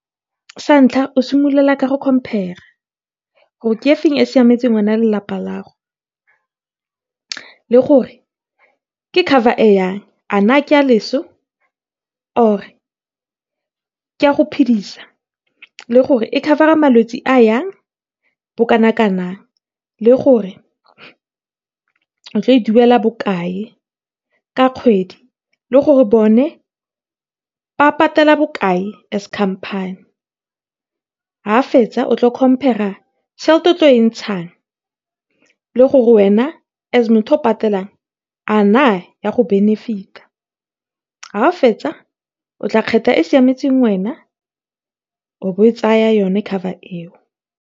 Sa ntlha, o simolola ka go compare-a gore ke efe e e siametseng wena le lelapa la gago, le gore ke cover e yang, a na ke ya loso or ke ya go , le gore e cover-a malwetsi a yang , le gore o tlile go e duela bokae ka kgwedi, le gore bone ba patela bokae as company. Ha o fetsa, o tla compare-a tšhelete e o tlileng go e patala, le gore wena as motho yo o patelang, a na etla go benefit-a. Ha o fetsa, o tla kgetha e e go siametseng, o bo o tsaya yone cover eo.